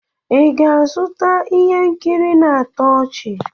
Ị ga-azụta ihe nkiri na-atọ ọchị?